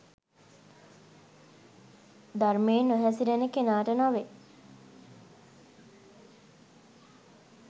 ධර්මයේ නොහැසිරෙන කෙනාට නොවෙයි.